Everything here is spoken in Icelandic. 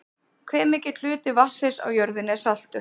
hve mikill hluti vatnsins á jörðinni er saltur